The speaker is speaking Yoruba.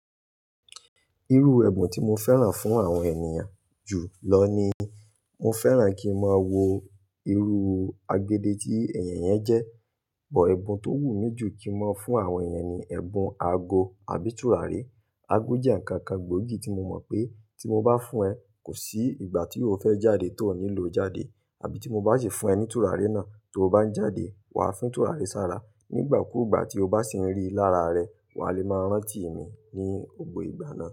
Irú ẹ̀bùn tí mo fẹ́ran fún àwọn ènìyàn jù lọ ni, mo fẹ́ran kí n máa wo irú agede tí ènìyàn yẹn jẹ́. Ìbò ẹ̀bùn tó wù mí jù kí n máa fún àwọn ènìyàn ni ẹ̀bùn aago àbí tùràrí. Aago jẹ́ ǹkan kan gbòógì tí mo mọ̀ pé tí mo bá fún ẹ, kò sí ìgbà tí o fẹ́ jáde ti o nílò jáde. Àbí tí mo bá ṣi fún ẹ ní tùràrí náà tó o bá ń jáde, wà á fín tùràrí sára. Nígbà kúùgbà tí o bá sì ń rí i lára rẹ, wà á lè máa rántí mi ní gbogbò ìgbà náà.